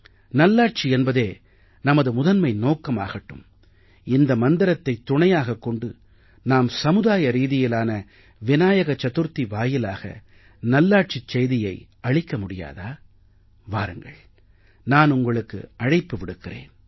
நல்லாட்சி என்பதே நமது முதன்மை நோக்கமாகட்டும் இந்த மந்திரத்தைத் துணையாகக் கொண்டு நாம் சமுதாய ரீதியிலான விநாயக சதுர்த்தி வாயிலாக நல்லாட்சிச் செய்தியை அளிக்க முடியாதா வாருங்கள் நான் உங்களுக்கு அழைப்பு விடுக்கிறேன்